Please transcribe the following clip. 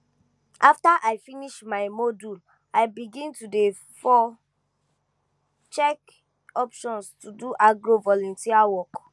after i finish my module i begin to dey for check options to do agro volunteer work